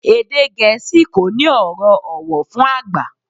Èdè Gẹ̀ẹ́sì kò ní ọ̀rọ̀ ọ̀wọ̀ fún àgbà